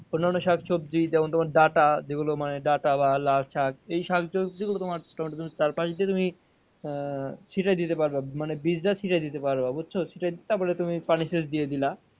অন্যান্য শাকসবজি যেমন তোমার ডাটা, যেগুলো মানে ডাটা বা লাল শাক এই শাকসবজি গুলো তোমার টমেটোর চার পাস দিয়ে তুমি আহ ছিটায় দিতে পারবে মানে বীজ টা ছিটায় দিতে পারবে বুঝছ? ছিটায় দিয়ে তারপর তুমি পানি দিয়ে দিলা।